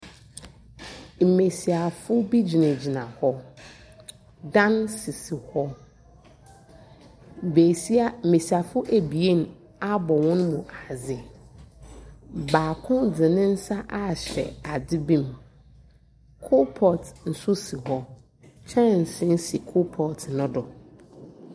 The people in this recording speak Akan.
Mbesiafo bi gyinagyina hɔ. Dan sisi hɔ. Besia mbesiafo ebien abɔ hɔn mu ase. Baako de ne nsa ahyɛ adze bi mu. Coal pot nso si hɔ. Kyɛnsee coal pot no do.